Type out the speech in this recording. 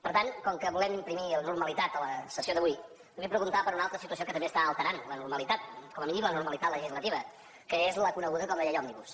per tant com que volem imprimir normalitat a la sessió d’avui li vull preguntar per una altra situació que també està alterant la normalitat com a mínim la normalitat legislativa que és la coneguda com la llei òmnibus